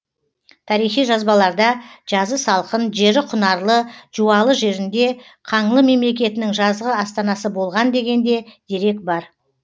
тарихи жазбаларда жазы салқын жері құнарлы жуалы жерінде қаңлы мемлекетінің жазғы астанасы болған деген де дерек бар